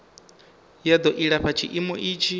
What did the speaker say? ya do ilafha tshiimo itshi